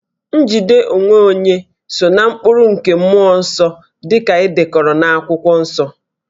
Njide onwe onye so ná mkpụrụ nke mmụọ nsọ dị ka e dekọrọ n'Akwụkwọ Nsọ